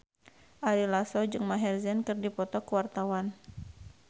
Ari Lasso jeung Maher Zein keur dipoto ku wartawan